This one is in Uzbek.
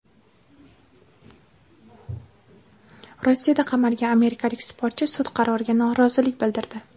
Rossiyada qamalgan amerikalik sportchi sud qaroriga norozilik bildirdi.